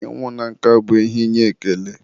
ịnwụ na nka ihe inye ekele.